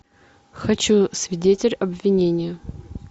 хочу свидетель обвинения